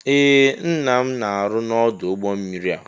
Ee ńnà m na-aru n'odu ụgbọ mmiri a.